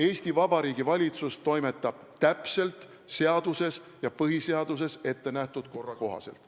Eesti Vabariigi valitsus toimetab täpselt seaduses ja põhiseaduses ettenähtud korra kohaselt.